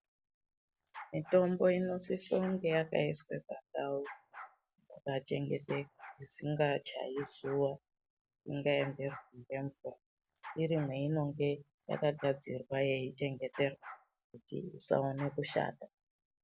Mitombo inosisa unge akayiswa pandau dzakachengeteka dzisingachayi zuwa, dzisingaenderwi ngemvura, iri mwayinenge yakagadzirwa yeichengeterwa kuyita kuti isawana kushata.